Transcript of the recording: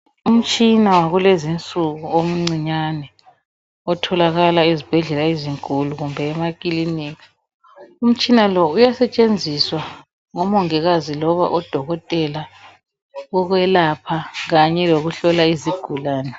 Umtshina wakulezinsuku omncinyane otholakala ezibhedlela ezinkulu kumbe emakilinika umtshina lo uyasetshenziswa ngomongikazi loba odokotela ukwelapha kanye lokuhlola izigulane.